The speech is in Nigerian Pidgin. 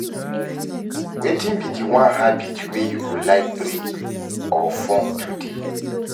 Wetin be di one habit wey you go like break or form today?